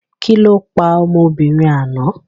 Kí lọ pa ọmọbìnrin àná?